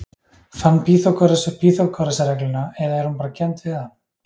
Fann Pýþagóras upp Pýþagórasarregluna eða er hún bara kennd við hann?